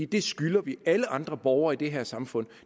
det skylder vi alle andre borgere i det her samfund